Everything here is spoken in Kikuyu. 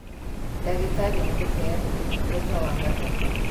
Ndagĩtarĩ nĩ mũheani ũtungata wa gatatũ